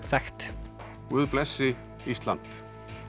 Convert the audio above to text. þekkt guð blessi Ísland